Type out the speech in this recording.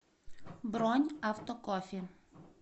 бронь автокофе